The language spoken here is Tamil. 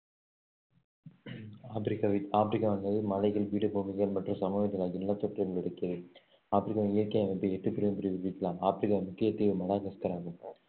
ஆப்ரிக்காவில் ஆப்ரிக்காவானது மலைகள் பீடபூமிகள் மற்றும் சமவெளிகள் ஆகிய நிலத்தோற்றங்களை உள்ளடக்கியது ஆப்ரிக்காவின் இயற்கை அமைப்பை எட்டு பெரும் பிரிவு பிரிக்கலாம் ஆப்ரிக்கா முக்கிய தீவு மடகாஸ்கர் ஆகும்